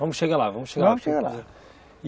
Vamos chegar lá, vamos chegar lá. Vamos chegar lá.